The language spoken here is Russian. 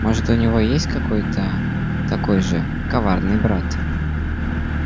может у него есть какой-то такой же коварный брат